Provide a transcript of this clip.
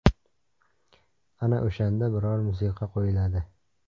Ana o‘shanda biror musiqa qo‘yiladi.